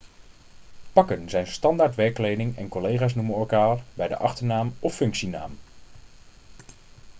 pakken zijn standaard werkkleding en collega's noemen elkaar bij de achternaam of functienaam